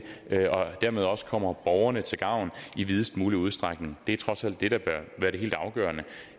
dermed også kommer borgerne til gavn i videst mulig udstrækning det er trods alt det der bør være det helt afgørende